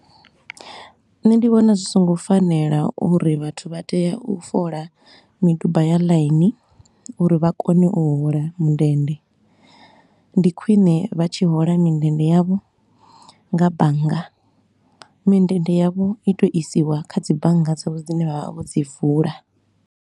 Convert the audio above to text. Nṋe ndi vhona zwi so ngo fanela uri vhathu vha tea u fola miduba ya laini uri vha kone u hola mindende, ndi khwine vha tshi hola mindende yavho nga bannga. Mindende yavho i tou isiwa kha dzi bannga dzavho dzine vha vha vho dzi vula.